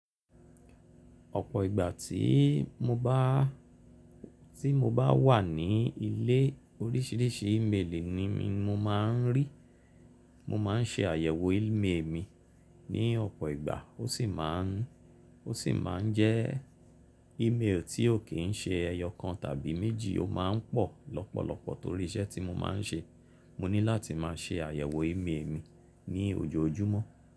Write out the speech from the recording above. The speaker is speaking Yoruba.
Ọ̀pọ̀ ìgbà tí mo bá, tí mo bá wà ní ilé oríṣìíríṣìí ímeèlì ni mo máa ń rí. Mo máà ń ṣe àyẹ̀wò ímeèlì mi ní ọ̀pọ̀ ìgbà ó sì máa ń, ó sì máa ń jẹ́ ímeèlì tí ó kì í ṣe ẹyọ kan tàbí méjì, ó máa ń pọ̀ lọ́pọ̀lọpọ̀ torí iṣẹ́ tí mo máa ń ṣe. Mo ní láti máa ṣe àyẹ̀wò ímeèlì mi ní ojoojúmọ́.